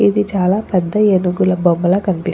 ఇది చాలా పెద్ద ఏనుగుల బొమ్మలాగా కనిపి --